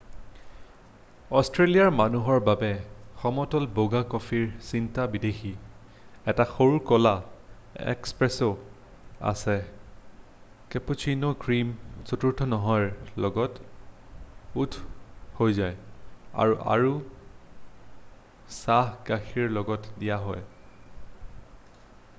"অষ্ট্ৰেলিয়াৰ মানুহৰ বাবে "সমতল বগা" কফিৰ চিন্তা বিদেশী । এটা সৰু কলা "এক্সপ্ৰেছো" আছে কেপাচিনো ক্ৰীম চতুৰ্থ নহয়ৰ লগত ওখ হৈ যায় আৰু আৰু চাহ গাখীৰৰ লগত দিয়া হয় ।""